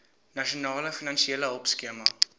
nasionale finansiële hulpskema